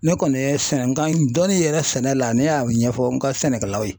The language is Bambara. Ne kɔni ye sɛnɛ nkan dɔni yɛrɛ sɛnɛ la ne ya o ɲɛfɔ n ka sɛnɛkɛlaw ye.